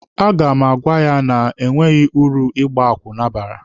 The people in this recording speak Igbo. A ga m agwa ya na enweghị uru ịgba akwụna bara.